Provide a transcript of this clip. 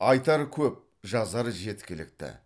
айтар көп жазар жеткілікті